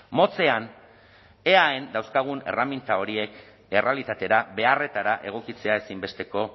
motzean eaen dauzkagun erreminta horiek errealitatera beharretara egokitzea ezinbesteko